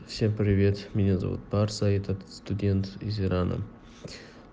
всем привет меня зовут барса этот студент из ирана